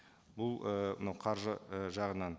бұл ы мынау қаржы ы жағынан